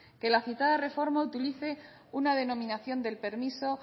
que la citada reforma utilice una denominación del permiso